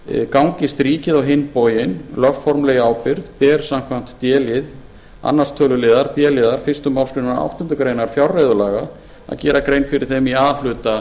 gangist ríkið á hinn bóginn lögformlega í ábyrgð ber samkvæmt d lið annars töluliðar b liðar fyrstu málsgrein áttundu greinar fjárreiðulaga að gera grein fyrir þeim í a hluta